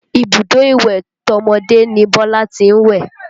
Ibùdó ìwẹ̀ tọmọdé ni Bọ́lá tí ń wẹ̀